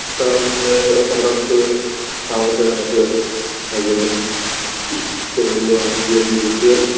তারপরে হঠাৎ করে আমার কাছে একটা massage আসে একজনের সে বলল আমি free আছি তুই ঘুরতে যাবি